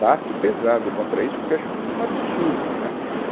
Bato pesado contra isso porque acho um absurdo, né